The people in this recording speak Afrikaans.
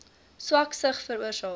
swak sig veroorsaak